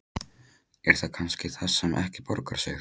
Er það kannski það sem ekki borgar sig?